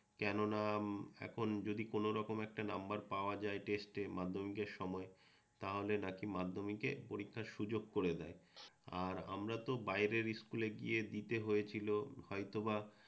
কেননা যদি কোনরকম একটা নাম্বার পাওয়া যায় টেস্টে মাধ্যমিকের সময়ে, তাহলে নাকি মাধ্যমিকে পরীক্ষার সুযোগ করে দেয়। আর আমরা তো বাইরের ইস্কুলে গিয়ে দিতে হয়েছিল হয়তোবা